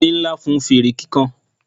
erin Nla fún fere kikan